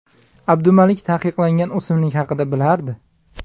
Abdumalik taqiqlangan o‘simlik haqida bilardi.